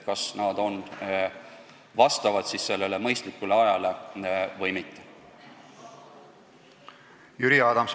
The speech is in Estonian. Jüri Adams, palun!